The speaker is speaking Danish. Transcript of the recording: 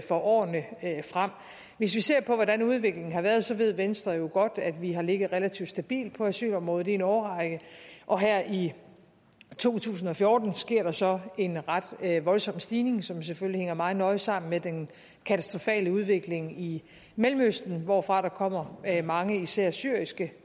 for årene frem hvis vi ser på hvordan udviklingen har været ved venstre jo godt at vi har ligget relativt stabilt på asylområdet i en årrække og her i to tusind og fjorten sker der så en ret voldsom stigning som selvfølgelig hænger meget nøje sammen med den katastrofale udvikling i mellemøsten hvorfra der kommer mange især syriske